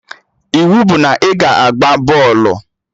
Iwu bụ na ị ga-agba bọọlụ!